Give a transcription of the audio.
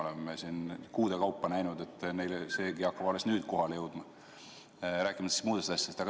Me oleme siin kuude kaupa näinud, et neile hakkab see alles nüüd kohale jõudma, rääkimata muudest asjadest.